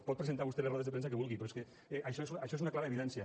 pot presentar vostè les rodes de premsa que vulgui però és que això n’és una clara evidència